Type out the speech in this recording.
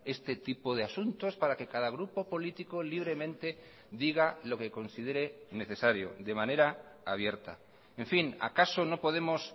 este tipo de asuntos para que cada grupo político libremente diga lo que considere necesario de manera abierta en fin acaso no podemos